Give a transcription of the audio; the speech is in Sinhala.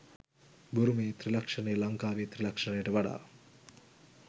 බුරුමයේ ත්‍රිලක්ෂණය ලංකාවේ ත්‍රිලක්ෂණයට වඩා